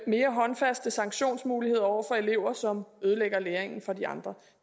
mere håndfaste sanktionsmuligheder over for elever som ødelægger læringen for de andre